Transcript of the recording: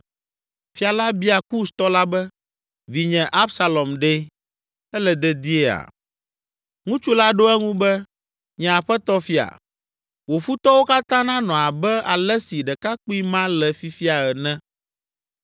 Fia la bia Kustɔ la be, “Vinye Absalom ɖe? Ele dediea?” Ŋutsu la ɖo eŋu be, “Nye aƒetɔ fia, wò futɔwo katã nanɔ abe ale si ɖekakpui ma le fifia ene!”